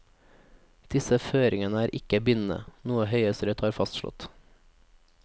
Disse føringene er ikke bindene, noe høyesterett har fastslått.